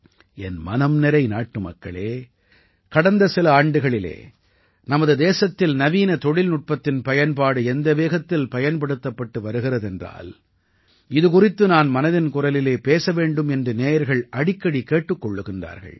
என் மனம் நிறை நாட்டுமக்களே கடந்த சில ஆண்டுகளில் நமது தேசத்தில் நவீன தொழில்நுட்பத்தின் பயன்பாடு எந்த வேகத்தில் பயன்படுத்தப்பட்டு வருகிறது என்றால் இது குறித்து நான் மனதின் குரலில் பேச வேண்டும் என்று நேயர்கள் அடிக்கடி கேட்டுக் கொள்கிறார்கள்